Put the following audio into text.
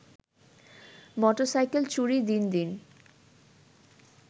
motorcycle চুরি দিন দিন